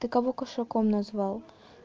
ты кого кошаком назвал